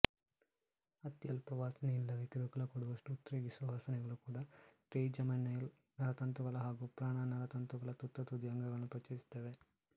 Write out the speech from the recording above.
ಅತ್ಯಲ್ಪ ವಾಸನೆ ಇಲ್ಲವೇ ಕಿರುಕುಳ ಕೊಡುವಷ್ಟು ಉದ್ರೇಕಿಸುವ ವಾಸನೆಗಳು ಕೂಡ ಟ್ರೈಜಮೈನಲ್ ನರತಂತುಗಳ ಹಾಗೂ ಘ್ರಾಣನರತಂತುಗಳ ತುತ್ತತುದಿಯ ಅಂಗಗಳನ್ನು ಪ್ರಚೋದಿಸುತ್ತವೆ